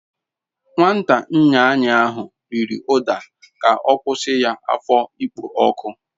Nwata nyanyi ahu riri uda k'okwusi ya afo ikpo oku